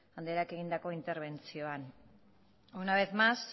andreak egindako interbentzioan una vez más